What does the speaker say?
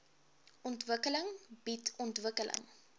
ontwikkeling bied ontwikkeling